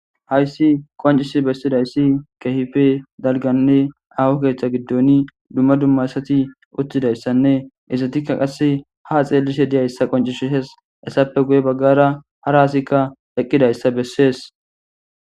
Hayisi qoncisidayisi kehipe daliganne aho ketha gidoni duma duma asati utidayisane izatika ha xelishe dizayisa qoncisesi hesape guye baggara hara asi eqidayissa besesi